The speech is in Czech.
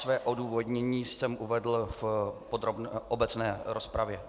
Své odůvodnění jsem uvedl v obecné rozpravě.